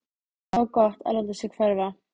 Það var gott að láta sig hverfa.